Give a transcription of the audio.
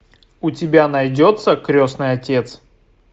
у тебя найдется крестный отец